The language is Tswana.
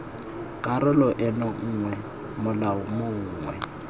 karolo eno gongwe molao mongwe